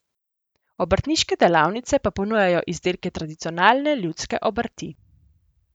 Obrtniške delavnice pa ponujajo izdelke tradicionalne ljudske obrti.